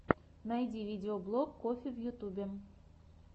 найти видеоблог коффи в ютюбе